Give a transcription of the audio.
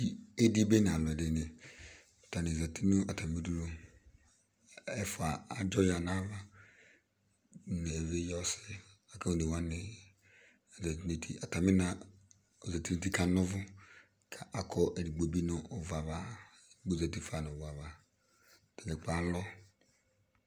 Idi bene alʋ ɛdini Atani zati nʋ atami udunu Ɛfua adzɔ ya nʋ ava nʋ evidze ɔsi la kʋ one wani, atani na ozati nʋ uti la anɔvʋ kʋ akɔ ɛdigbo bi nʋ ʋvu ava, kʋ ozati fa nʋ ʋvu ava Atadza kplo alɔ